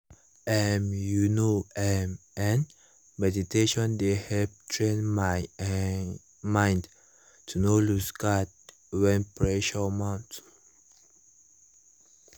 um you know [um][um]meditation dey help train my um mind to no lose guard when pressure mount